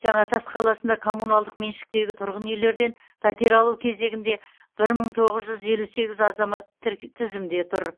жаңатас қаласында коммуналдық меншіктегі тұрғын үйлерден пәтер алу кезегінде бір мың тоғыз жүз елу сегіз азамат тізімде тұр